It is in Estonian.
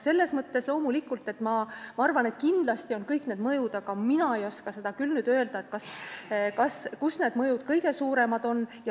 Ma arvan, et kindlasti kõik need mõjud on, aga mina ei oska küll öelda, kus need mõjud kõige suuremad on.